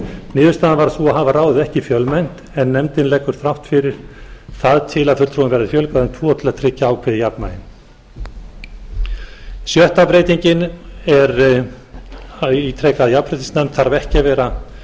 niðurstaðan varð sú að hafa ráðið ekki fjölmennt en nefndin leggur þrátt fyrir það til að fulltrúum verði fjölgað um tvo til að tryggja ákveðið jafnvægi sjötta breytingin er ég ítreka að jafnréttisnefnd þarf ekki að vera